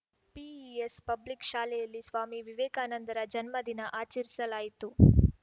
PES public ಶಾಲೆಯಲ್ಲಿ ಸ್ವಾಮಿ ವಿವೇಕಾನಂದರ ಜನ್ಮದಿನ ಆಚರಿಸಲಾಯಿತು